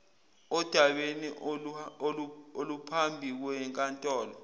odabeni oluphambi kwenkantolo